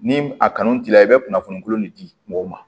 Ni a kanu t'i la i bɛ kunnafoni kolon de di mɔgɔw ma